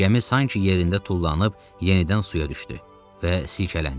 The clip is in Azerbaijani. Gəmi sanki yerində tullanıb yenidən suya düşdü və silkələndi.